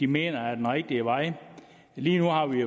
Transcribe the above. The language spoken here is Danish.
mener er den rigtige vej lige nu har vi